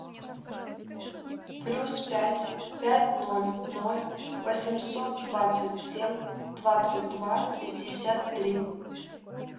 плюс пять пять ноль ноль восемьсот двадцать семь двадцать два пятьдесят три